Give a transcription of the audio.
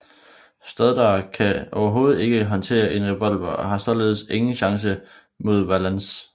Stoddard kan overhovedet ikke håndtere en revolver og har således ikke en chance mod Valance